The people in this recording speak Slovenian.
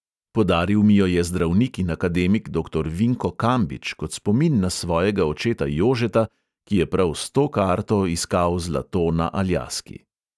Podaril mi jo je zdravnik in akademik doktor vinko kambič kot spomin na svojega očeta jožeta, ki je prav s to karto iskal zlato na aljaski.